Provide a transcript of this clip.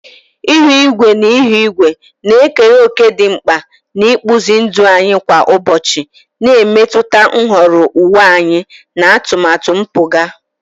Ihu igwe na ihu igwe na-ekere òkè dị mkpa n'ịkpụzi ndụ anyị kwa ụbọchị, na-emetụta nhọrọ uwe anyị na atụmatụ mpụga.